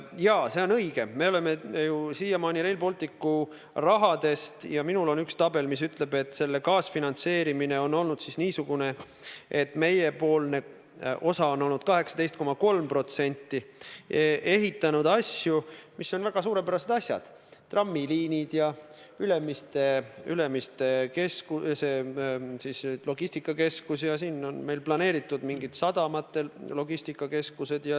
Jaa, see on õige, et me oleme ju siiamaani Rail Balticu raha eest – mul on üks tabel, mis ütleb, et selle kaasfinantseerimine on olnud niisugune, et meiepoolne osa on olnud 18,3% – ehitanud asju, mis on väga suurepärased asjad: trammiliinid ja Ülemiste logistikakeskus, ka on meil planeeritud mingid sadamate logistikakeskused.